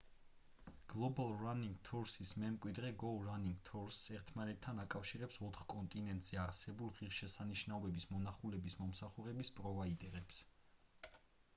global running tours-ის მემკვიდრე go running tours ერთმანეთთან აკავშირებს ოთხ კონტინენტზე არსებულ ღირსშესანიშნაობების მონახულების მომსახურების პროვაიდერებს